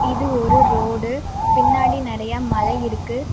இது ஒரு ரோடு பின்னாடி நெறைய மலை இருக்கு.